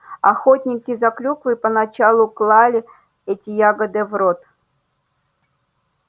охотники за клюквой поначалу клали эти ягоды в рот